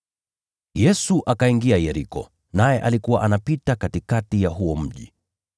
Yesu akaingia Yeriko, naye alikuwa anapita katikati ya huo mji.